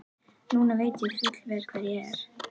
Núna veit ég fullvel hver ég er.